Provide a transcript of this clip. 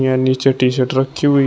यहां नीचे T shirt रखी हुई--